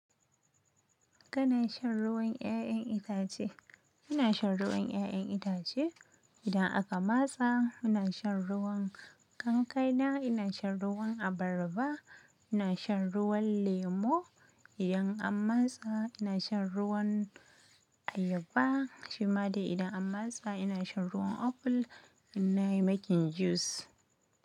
Kana shan ruwan ƴaƴan itace? Ina shan ruwan ƴaƴan itace. Idan aka matsa ina shan ruwan kankana, ina shan ruwan abarba, ina shan ruwan lemo. Idan an matsa ina shan ruwan ayaba. Shima dai idan an masa ina shan ruwan apple. Ina yi making juice.